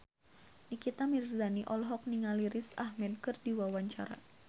Nikita Mirzani olohok ningali Riz Ahmed keur diwawancara